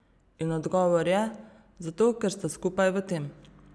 In odgovor je: "Zato, ker sta skupaj v tem.